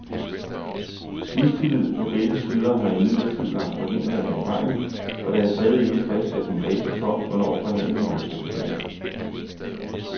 Mistillid på begge sider har imidlertid lagt forhindringer i vejen, og der er stadig ikke fastsat en dato for, hvornår forhandlingerne skal begynde.